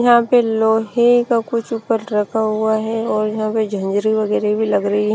यहां पे लोहे का कुछ ऊपर रखा हुआ है और यहां पे झंझरी वगैरह भी लग रही हैं।